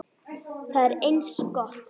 Það er eins gott.